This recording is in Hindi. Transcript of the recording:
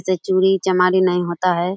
इससे चोरी चमारी नहीं होता है।